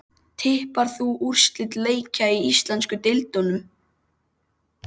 Tippar þú á úrslit leikja í íslensku deildunum?